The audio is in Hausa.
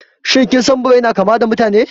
Shin kin san da Birai na kama da Mutane?